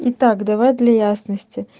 и так давай для ясности